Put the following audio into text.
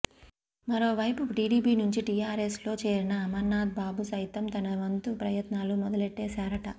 మరోవైపు టీడీపీ నుంచి టీఆర్ఎస్ లో చేరిన అమర్ నాథ్ బాబు సైతం తన వంతు ప్రయత్నాలు మొదలెట్టేశారట